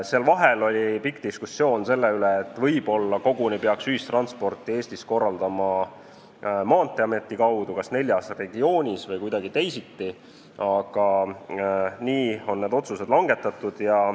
Seal vahel oli pikk diskussioon selle üle, et võib-olla peaks ühistransporti Eestis korraldama koguni Maanteeameti kaudu, kas neljas regioonis või kuidagi teisiti, aga nii on need otsused langetatud.